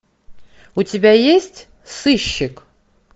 у тебя есть сыщик